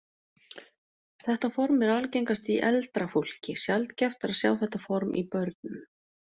Þetta form er algengast í eldra fólki, sjaldgæft er að sjá þetta form í börnum.